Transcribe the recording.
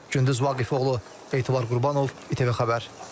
Gündüz Vaqifoğlu, Etibar Qurbanov, ITV Xəbər.